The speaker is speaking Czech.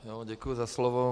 Děkuji za slovo.